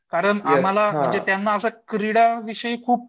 कारण आम्हाला म्हणजे त्यांना क्रीडा विषयी खूप